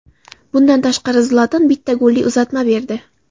Bundan tashqari Zlatan bitta golli uzatma berdi.